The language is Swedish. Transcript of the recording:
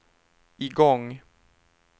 igång